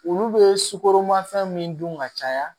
Olu bɛ sukoromafɛn min dun ka caya